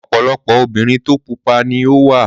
Ọ̀pọ̀lọpọ̀ obìnrin tí o pupa ni ó wà.